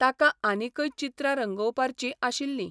ताका आनिकय चित्रां रंगोवपार्ची आशिल्ली.